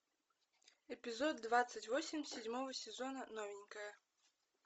эпизод двадцать восемь седьмого сезона новенькая